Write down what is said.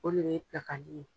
O de ye dakanin ye.